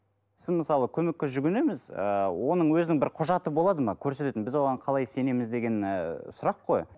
сіз мысалы көмекке жүгінеміз ыыы оның өзінің бір құжаты болады ма көрсететін біз оған қалай сенеміз деген ыыы сұрақ қой